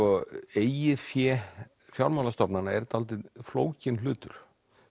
eigið fé fjármálstofnanna er dálítið flókinn hlutur